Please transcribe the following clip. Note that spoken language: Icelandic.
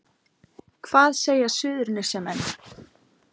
Hvað segja Suðurnesjamenn